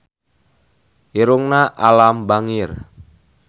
Irungna Alam bangir